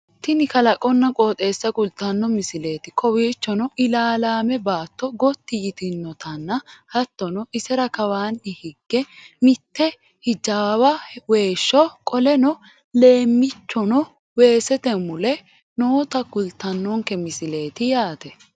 tini kalaqonna qoxeessa kultanno misileeti kowiiichono ilaalame baatto gotti yitinotanna hattono isera kawaanni hige mitte hjawa weeshsho qoleno leemmichono weesete mule noota kultannonke misileeti yaate